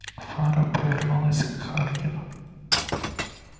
фара повернулась к хардину